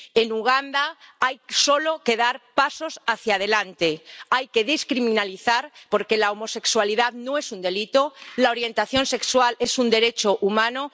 En Uganda hay solo que dar pasos hacia adelante, hay que descriminalizar la homosexualidad porque no es un delito y la orientación sexual es un derecho humano.